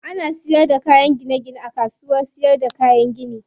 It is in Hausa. Ana siyar da kayan gine gine a kasuwar siyarda kayan gini.